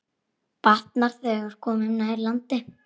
Batnar, þegar komum nær landi.